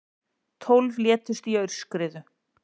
Tólf létust í aurskriðu